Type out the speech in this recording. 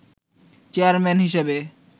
chairman হিসেবে